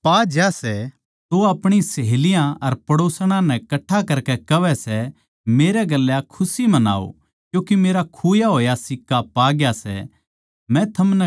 अर जिब पा ज्या सै तो वा अपणी ढब्बणां अर पड़ोसणां नै कट्ठा करकै कहवै सै मेरै गेल्या खुशी मनाओ क्यूँके मेरा खुया होया सिक्का पाग्या सै